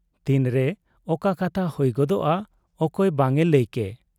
ᱛᱤᱱᱨᱮ ᱚᱠᱟ ᱠᱟᱛᱷᱟ ᱦᱩᱭ ᱜᱚᱫᱚᱜ ᱟ ᱚᱠᱚᱭ ᱵᱟᱝ ᱮ ᱞᱟᱹᱭ ᱠᱮ ᱾